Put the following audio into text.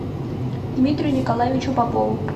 дмитрию николаевичу попову